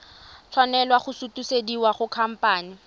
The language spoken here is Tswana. tshwanela go sutisediwa go khamphane